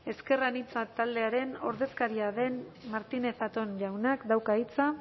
ezker anitza taldearen ordezkaria den martínez zatón jaunak dauka hitza